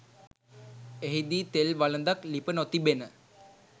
එහිදී තෙල් වළඳක් ලිප නොතිබෙන